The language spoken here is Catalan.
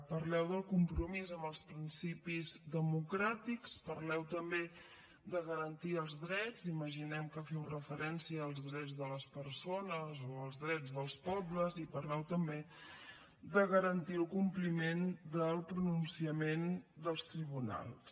parleu del compromís amb els principis democràtics parleu també de garantir els drets imaginem que feu referència als drets de les persones o als drets dels pobles i parleu també de garantir el compliment del pronunciament dels tribunals